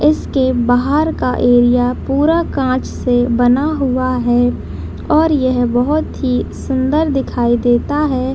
इसके बाहर का एरिया पूरा कांच से बना हुआ है और यह बहुत ही सुन्दर दिखाई देता है।